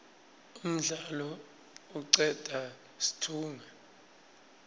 umdlalo icedza situnge